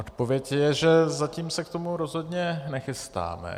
Odpověď je, že zatím se k tomu rozhodně nechystáme.